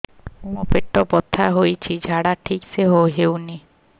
ମୋ ପେଟ ବଥା ହୋଉଛି ଝାଡା ଠିକ ସେ ହେଉନି